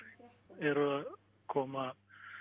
eru að koma